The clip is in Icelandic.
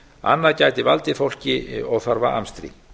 annað gæti valdið fólki óþarfa amstri